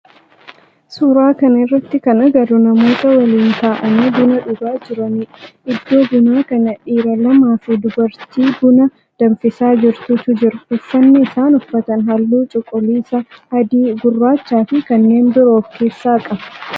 Suuraa kana irratti kan agarru namoota waliin ta'aanii buna dhugaa jiranidha. Iddoo bunaa kana dhiira lamaaa fi dubartii buna danfisaa jirtutu jira. Uffanni isaan uffatan halluu cuquliisa, adii, gurraacha fi kanneen biroo of keessaa qaba.